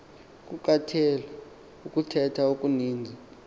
kukatheal ukuthetha okuninzi